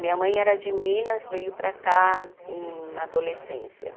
Minha mãe era de Minas, veio para cá na adolescência.